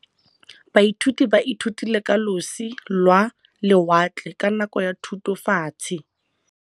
Baithuti ba ithutile ka losi lwa lewatle ka nako ya Thutafatshe.